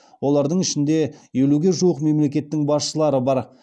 олардың ішінде елуге жуық мемлекеттің басшылары бар